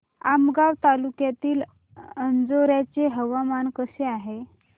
आमगाव तालुक्यातील अंजोर्याचे हवामान कसे आहे